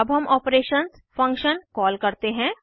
अब हम operations functions call करते हैं